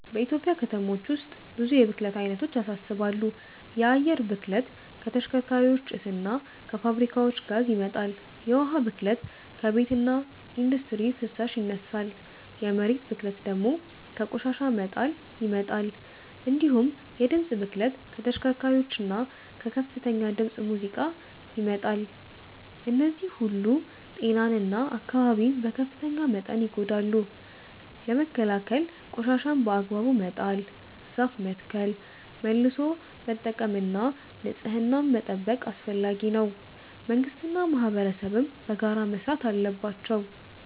በኢትዮጵያ ከተሞች ውስጥ ብዙ የብክለት አይነቶች ያሳስባሉ። የአየር ብክለት ከተሽከርካሪዎች ጭስ እና ከፋብሪካዎች ጋዝ ይመጣል፤ የውሃ ብክለት ከቤትና ኢንዱስትሪ ፍሳሽ ይነሳል፤ የመሬት ብክለት ደግሞ ከቆሻሻ መጣል ይመጣል። እንዲሁም የድምፅ ብክለት ከተሽከርካሪዎችና ከከፍተኛ ድምፅ ሙዚቃ ይመጣል። እነዚህ ሁሉ ጤናን እና አካባቢን በከፍተኛ መጠን ያጎድላሉ። ለመከላከል ቆሻሻን በአግባቡ መጣል፣ ዛፍ መትከል፣ መልሶ መጠቀም እና ንጽህናን መጠበቅ አስፈላጊ ነው፤ መንግስትና ማህበረሰብም በጋራ መስራት አለባቸው።